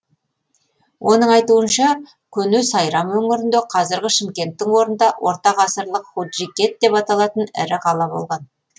оның айтуынша көне сайрам өңірінде қазіргі шымкенттің орнында ортағасырлық нуджикет деп аталатын ірі қала болған